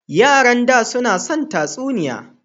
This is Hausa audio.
Yaran da su na son tatsuniya.